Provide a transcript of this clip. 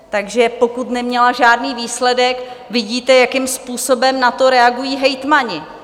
Takže pokud neměla žádný výsledek, vidíte, jakým způsobem na to reagují hejtmani.